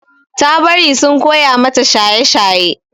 Ta bari sun koya mata shaye-shaye.